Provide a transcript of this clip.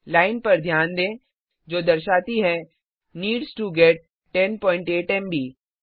line पर ध्यान दें जो दर्शाती है नीड्स टो गेट 108 एमबी